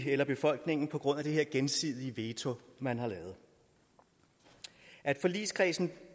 eller befolkningen på grund af det her gensidige veto man har lavet at forligskredsen